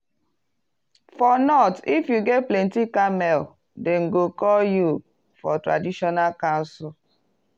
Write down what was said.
for north if you get plenty camel dem go call you for traditional council.